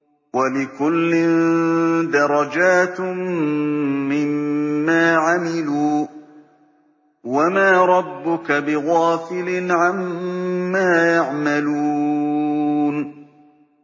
وَلِكُلٍّ دَرَجَاتٌ مِّمَّا عَمِلُوا ۚ وَمَا رَبُّكَ بِغَافِلٍ عَمَّا يَعْمَلُونَ